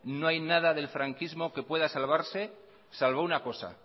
no hay nada del franquismo que pueda salvarse salvo una cosa